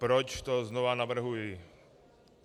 Proč to znova navrhuji.